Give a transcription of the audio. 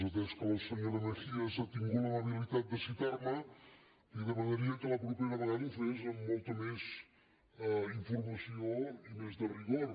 atès que la senyora mejías ha tingut l’amabilitat de citar me li demanaria que la propera vegada ho fes amb molta més informació i més de rigor